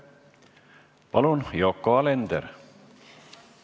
Palun, Yoko Alender!